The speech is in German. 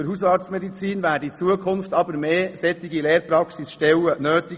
Gemäss dem BIHAM werden in Zukunft mehr solcher Lehrpraxisstellen notwendig.